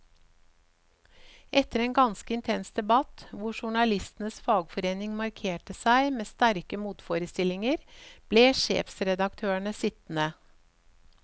Etter en ganske intens debatt, hvor journalistenes fagforening markerte seg med sterke motforestillinger, ble sjefredaktørene sittende.